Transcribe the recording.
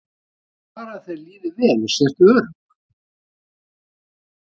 Hún vill bara að þér líði vel og sért örugg.